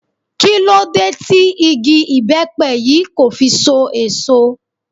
Kí ló dé tí igi ibepe yìí kò fi so èso?